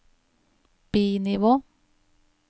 bi-nivå